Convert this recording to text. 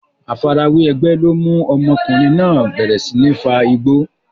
Àfarawé ẹgbẹ́ ló mú ọmọdékùnrin náà bẹ̀rẹ̀ sí ní fa igbó.